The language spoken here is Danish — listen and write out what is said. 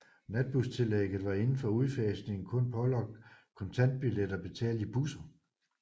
Natbustillægget var inden udfasningen kun pålagt kontantbilletter betalt i busser